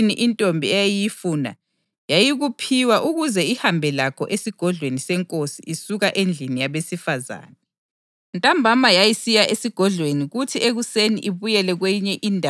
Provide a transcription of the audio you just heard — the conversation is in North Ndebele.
Indlela intombi eyayisiya ngayo enkosini yile: loba yini intombi eyayiyifuna yayikuphiwa ukuze ihambe lakho esigodlweni senkosi isuka endlini yabesifazane.